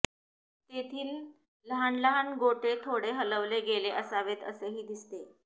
तेथील लहान लहान गोटे थोडे हलवले गेले असावेत असेही दिसते